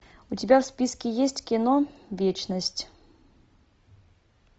у тебя в списке есть кино вечность